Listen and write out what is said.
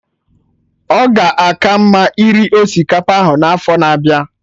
Ọ ga aka mma iri osikapa ahụ n'afọ na-abịa